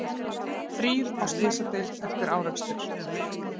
Þrír á slysadeild eftir árekstur